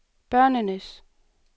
børnenes